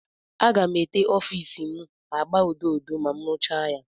Aga m ete ọfiisi m agba odo odo ma m rụchaa ya.